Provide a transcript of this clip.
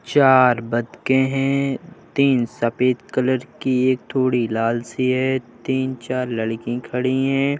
चार बतकेँ हैं। तीन सफेद कलर की एक थोड़ी लाल सी है। तीन - चार लड़की खड़ी हैं।